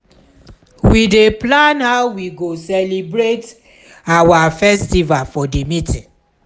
we dey plan how we go celebrate our festival for di meeting.